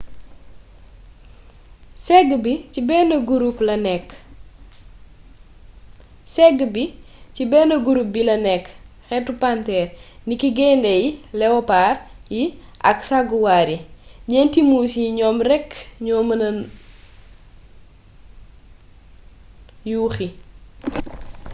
ségg bi ci benn gurup bi la nekk xeetu panteer niki gayndé yi lewopaar yi ak saguwaar yi. ñeenti muus yii ñoom rekk ñoo mën na yuuxi